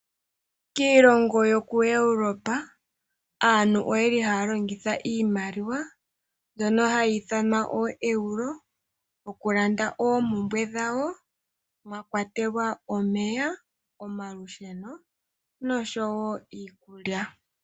Kiilongo yoku Europa oyeli haya longitha iimaliwa mbyono hayi ithanwa ooEuro okulanda oompumbwe dhawo mwakwatelwa omeya, omalusheno noshowo iikulya.